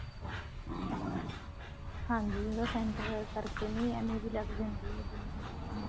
ਹਾਂਜੀ ਉਹਦਾ center ਕਰਕੇ ਨੀ ਏਵੇਂ ਵੀ ਲੱਗ ਜਾਂਦੀ ਹੈ ਜਿੰਨਾ ਨਾਪਾਂਗੇ